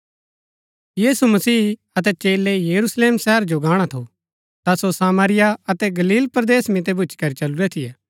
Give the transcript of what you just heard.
यीशु मसीह अतै चेलै यरूशलेम शहरा जो गाणा थू ता सो सामरिया अतै गलील परदेस मितै भूच्ची करी चलुरै थियै